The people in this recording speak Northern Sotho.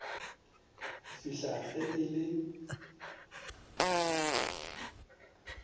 go fihla ge e le